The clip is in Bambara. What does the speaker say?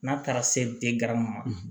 N'a taara se denma